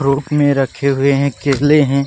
Fruit मे रखे हुए हैं। केले हैं।